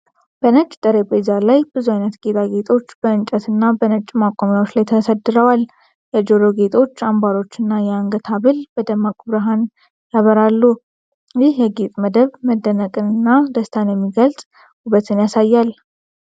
በነጭ ጠረጴዛ ላይ ብዙ አይነት ጌጣጌጦች በእንጨትና በነጭ ማቆሚያዎች ላይ ተሰድረዋል። የጆሮ ጌጦች፣ አንባሮች እና የአንገት ሐብል በደማቅ ብርሃን ያበራሉ። ይህ የጌጥ መደብ መደነቅንና ደስታን የሚገልጽ ውበትን ያሳያል።